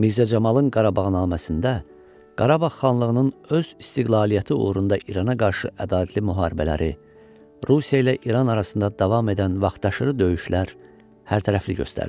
Mirzə Camalın Qarabağnaməsində Qarabağ xanlığının öz istiqlaliyyəti uğrunda İrana qarşı ədalətli müharibələri, Rusiya ilə İran arasında davam edən vaxtaşırı döyüşlər hər tərəfli göstərilir.